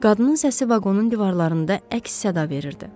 Qadının səsi vaqonun divarlarında əks-səda verirdi.